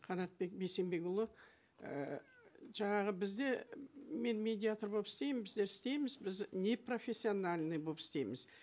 қанатбек бейсенбекұлы ііі жаңағы бізде мен медиатор болып істеймін біздер істейміз біз непрофессиональный болып істейміз